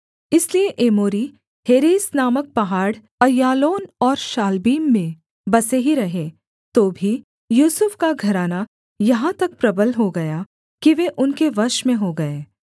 इसलिए Amorites Heres नामक पहाड़ अय्यालोन और शाल्बीम में बसे ही रहे तो भी यूसुफ का घराना यहाँ तक प्रबल हो गया कि वे उनके वश में हो गए